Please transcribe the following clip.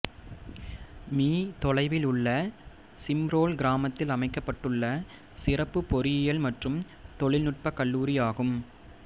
me தொலைவில் உள்ள சிம்ரோல் கிராமத்தில் அமைக்கப்பட்டுள்ள சிறப்பு பொறியியல் மற்றும் தொழில்நுட்ப கல்லூரியாகும்